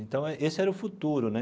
Então, esse era o futuro, né?